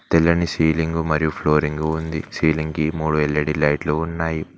తెల్లని సీలింగు మరియు ఫ్లోరింగు ఉంది సీలింగ్ కి మూడు ఎల్_ఈ_డి లైట్లు ఉన్నాయి.